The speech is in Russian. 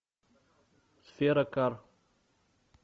сфера кар